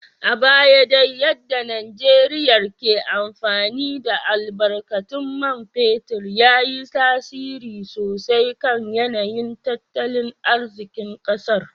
A baya dai yadda Najeriyar ke amfani da albarkatun man fetur ya yi tasiri sosai kan yanayin tattalin arzikin kasar.